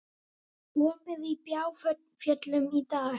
Opið í Bláfjöllum í dag